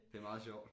Det meget sjovt